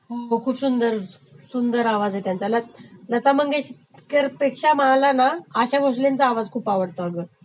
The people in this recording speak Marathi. हो खूप सुंदर, सुंदर.....आवाज आहे त्यांचा, लता मंगेशकरपेक्षा मला ना आशा भासलेंचा आवाज खूप आवडते अगं